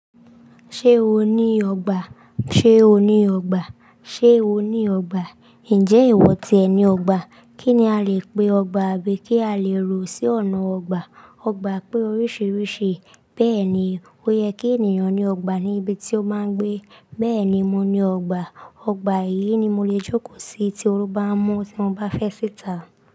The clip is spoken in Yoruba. Ṣé o ní ọgbà? Ṣé o ní ọgbà? Ṣé o ní ọgbà? Ǹjẹ́ ìwọ tìẹ ní ọgbà? Kí ni a lè pe ọgbà àbí kí a lè rò sí ọ̀nà ọgbà? Ọgbà pé oríṣiríṣi, bẹ́ẹ̀ ni ó yẹ kí ènìyàn ní ọgbà ní ibi tí ó máa ń gbé. Bẹ́ẹ̀ ni mo ní ọgbà. Ọgbà yìí ni mo lè jókòó sí tí orú bá ń mú tí mo bá fẹ́ sìtà.